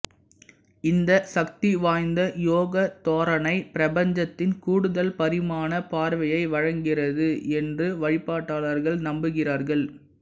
இந்த சக்திவாய்ந்த யோக தோரணை பிரபஞ்சத்தின் கூடுதல் பரிமாண பார்வையை வழங்குகிறது என்று வழிபாட்டாளர்கள் நம்புகிறார்கள்